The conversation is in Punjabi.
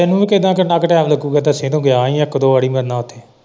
ਇਹਨੂੰ ਵੀ ਕਿੰਨਾਂ ਕਿੰਨਾਂ ਕ ਟਾਇਮ ਲੱਗੂਗਾ ਦੱਸੀ ਇਹਨੂੰ ਗਿਆ ਹੀ ਇੱਕ ਦੇ ਵਾਰੀ ਮੇਰੀ ਨਾਲ।